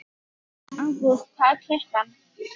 Ágúst, hvað er klukkan?